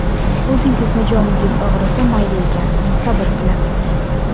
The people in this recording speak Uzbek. O‘zingizni joningiz og‘risa, mayli ekan, sabr qilasiz.